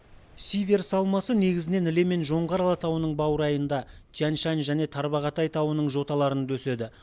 сиверс алмасы негізінен іле мен жоңғар алатауының баурайында тянь шань және тарбағатай тауының жоталарында өседі